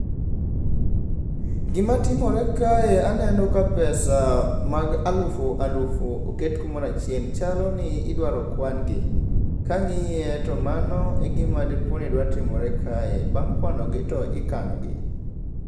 Gimatimore kae aneno ka pesa mag alufu alufu oket kumorachiel, chaloni idwaro kwan gi. Kang'iye to mano e gima dipo ni dwa timore kae, bang' kwanogi to ikanogi.